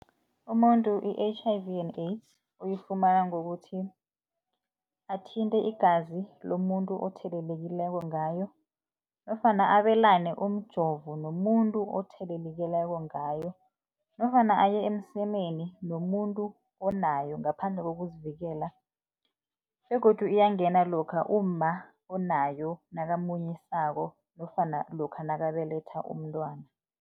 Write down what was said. Umuntu i-H_I_V and AIDS uyifumana ngokuthi athinte igazi lomuntu othelelekileko ngayo nofana abelane umjovo nomuntu othelelekileko ngayo nofana aye emsemeni nomuntu onayo ngaphandle kokuzivikela begodu ingangena lokha umma onayo nakamunyisako nofana lokha nakubelethwa umntwana.